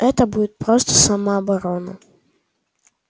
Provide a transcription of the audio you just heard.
это будет просто самооборона